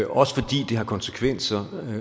også fordi det har konsekvenser